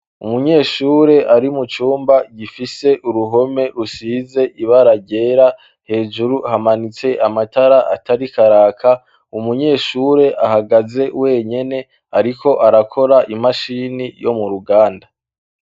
Umunyeshure ari mu cumba gifise uruhome rusize ibara ryera, hejuru hamanitse amatara atariko araka, umunyeshure ahagaze wenyene ariko arakora imashini yo mu ruganda.